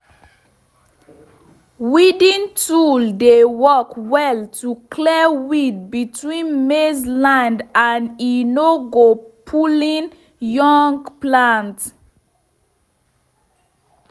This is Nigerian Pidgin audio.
weeding tool dey work well to clear weed between maize line and e no go pulling young plant